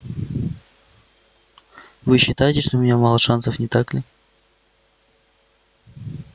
вы считаете что у меня мало шансов не так ли